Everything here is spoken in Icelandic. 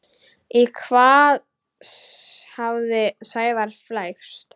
Í hvað hafði Sævar flækst?